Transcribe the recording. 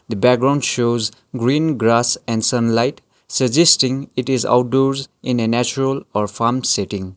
the background shows green grass and sunlight suggesting it is outdoors in a natural or farm setting.